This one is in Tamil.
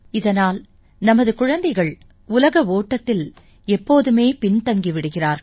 இதனால் நமது குழந்தைகளின் உலகில் ஓட்டத்தில் அவர்கள் எப்போதுமே பின் தங்கி விடுகிறார்கள்